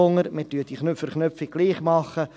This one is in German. Wir machen diese Verknüpfung trotzdem.